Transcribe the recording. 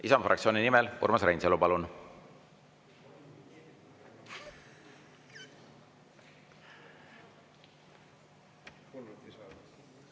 Isamaa fraktsiooni nimel, Urmas Reinsalu, palun!